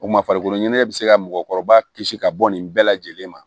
O ma farikolo ɲɛnajɛ bɛ se ka mɔgɔkɔrɔba kisi ka bɔ nin bɛɛ lajɛlen ma